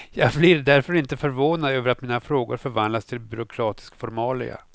Jag blir därför inte förvånad över att mina frågor förvandlas till byråkratisk formalia.